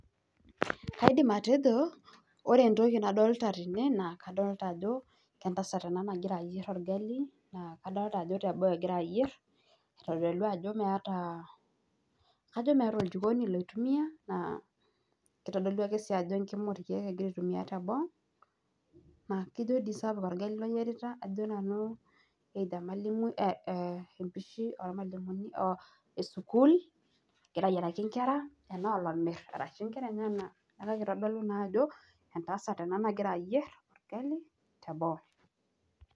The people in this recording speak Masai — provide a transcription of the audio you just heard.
Aidim atejo ore entoki nadolita tene naa kadolta ajo entasat ena nagira ayierr orgali naa kadolta ajo teboo egira ayierr aitodolu ajo meeta oljikoni loitumiaa naairoshi kitodolu ajo emkima orkeek egira aitumia teboo naa ijio sapuk orgali oyierita ajo nanu either emalimui empishi ormalimuni oo esukuul, egira aayiraki nkera enaa olomirr arashu nkera enyenak neeku itodolu naa ajo entasat ena nagira ayierr orgali teboo.